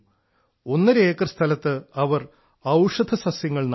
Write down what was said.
ഒന്നര ഏക്കർ സ്ഥലത്ത് അവർ ഔഷധസസ്യങ്ങൾ നട്ടു